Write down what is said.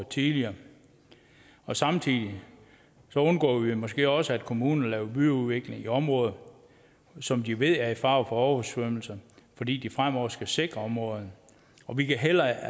tidligere samtidig undgår vi måske også at kommunerne laver byudvikling i områder som de ved er i fare for oversvømmelse fordi de fremover skal sikre områderne vi kan heller